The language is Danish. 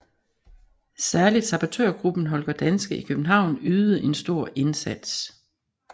Særligt sabotørgruppen Holger Danske i København ydede en stor indsats